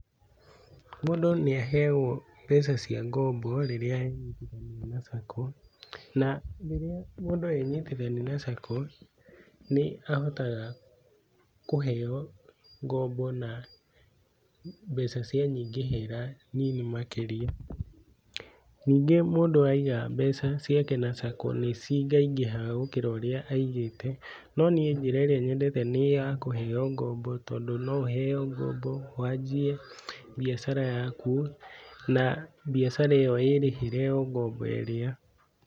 Mũndũ nĩ aheagwo mbeca cia ngombo rĩrĩa ena sacco na rĩrĩa mũndũ enyitithania na sacco nĩahotaga kũheo ngombo na mbeca cia nyingĩhĩra nyinyi makĩria, ningĩ mũndũ aiga mbeca ciake na sacco nĩcingaingĩhaga gũkĩra ũrĩa aigĩte no niĩ njĩra nyendete nĩ ya kũheo ngombo tondũ no ũheo ngombo wanjie biacara yaku na biacara ĩyo ĩrĩhĩre ngombo ĩrĩa.